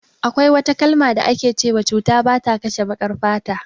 Akwai wata kalma da ake cewa cuta bata kashe baƙar fata